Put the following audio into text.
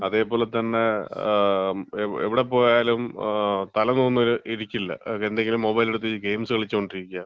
അതേപോലെ തന്നെ ങാ, എവിടെ പോയാലും തല നൂർന്ന് ഇരിക്കില്ല, എന്തെങ്കിലും മൊബൈൽ എടുത്തോണ്ട് ഗെയിംസ് കളിച്ചോണ്ടിരിക്ക്യാ,